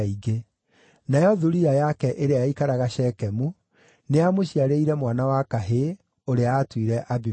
Nayo thuriya yake ĩrĩa yaikaraga Shekemu, nĩyamũciarĩire mwana wa kahĩĩ, ũrĩa aatuire Abimeleku.